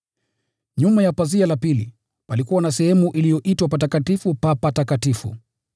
Nyuma ya pazia la pili, palikuwa na sehemu iliyoitwa Patakatifu pa Patakatifu,